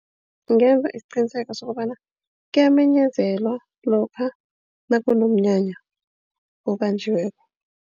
Ngingenza isiqiniseko sokobana kuyamenyezelwa lokha nakunomnyanya obanjweko.